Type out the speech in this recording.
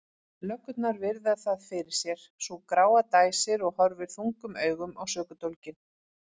Löggurnar virða það fyrir sér, sú gráa dæsir og horfir þungum augum á sökudólginn.